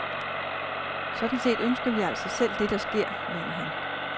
Sådan set ønsker vi altså selv det, der sker, mener han.